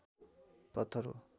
पत्थर हो